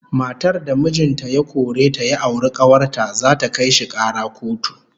Matar da mijin ta ya kore ta ya auri kawar ta, zata kai shi kara kotu